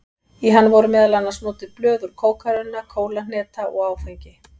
Í hann voru meðal annars notuð blöð úr kókarunna, kólahneta og áfengi.